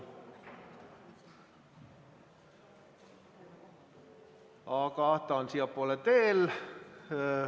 Aga ta on alles siiapoole teel.